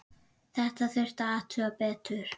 Þetta þurfti að athuga betur.